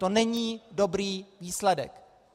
To není dobrý výsledek.